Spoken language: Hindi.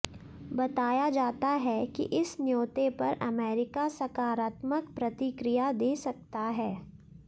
बताया जाता है कि इस न्यौते पर अमेरिका सकारात्मक प्रतिक्रिया दे सकता है